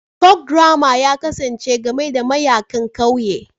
Folkdrama ya kasance game da mayaƙan ƙauye